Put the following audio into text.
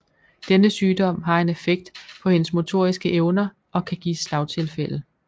Denne sygdom har en effekt på hendes motoriske evner og kan give slagtilfælde